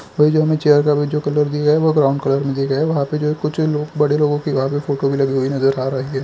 ये जो हमें चेयर का जो कलर दिख रहा है वह ब्राउन कलर में दिख रहा हैवहाँ पे जो कुछ लोग बड़े लोगों की दीवाल पे फोटो लगी हुई नजर आ रही हैं।